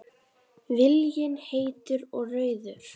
Viljinn heitur og rauður.